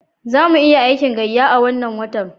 Za mu iya aikin gayya a wannan watan.